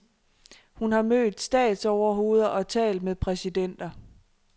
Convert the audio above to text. Hun har mødt statsoverhoveder og talt med præsidenter.